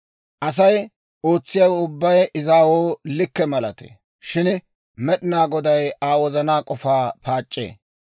Asay ootsiyaawe ubbay izaawoo likke malatee; shin Med'inaa Goday Aa wozanaa k'ofaa paac'c'ee.